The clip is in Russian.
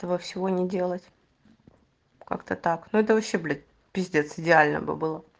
того всего не делать как-то так ну это вообще блять пиздец идеально бы было